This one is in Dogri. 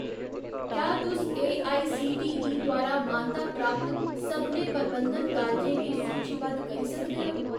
क्या तुस एआईसीटीई द्वारा मानता प्राप्त सभनें प्रबंधन कालजें गी सूचीबद्ध करी सकदे ओ ?